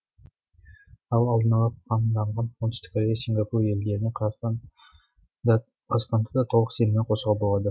ал алдын ала қамданған оңтүстік корея сингапур елдеріне қазақстанды да толық сеніммен қоршауға болады